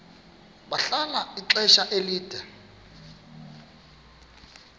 bahlala ixesha elide